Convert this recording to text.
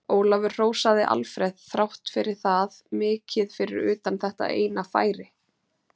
Ólafur hrósaði Alfreð þrátt fyrir það mikið fyrir utan þetta eina færi.